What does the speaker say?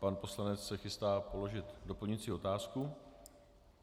Pan poslanec se chystá položit doplňující otázku.